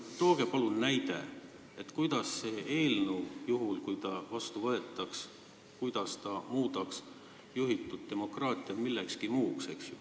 Tooge palun näide, kuidas muudaks see eelnõu, juhul kui ta vastu võetakse, juhitud demokraatia millekski muuks.